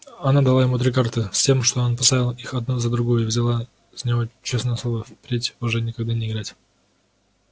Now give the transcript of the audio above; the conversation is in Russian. она дала ему три карты с тем что он поставил их одну за другою и взяла с него честное слово впредь уже никогда не играть